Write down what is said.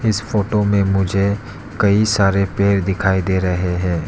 इस फोटो में मुझे कई सारे पेड़ दिखाई दे रहे हैं।